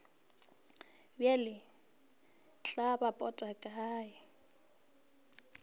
bjale tla ba pota kae